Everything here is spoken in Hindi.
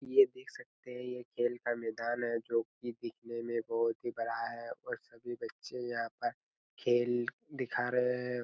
ये देख सकते है ये खेल का मैदान है जोकि दिखने में बहोत ही बड़ा है और सभी बच्चे यहाँ पर खेल दिखा रहे है।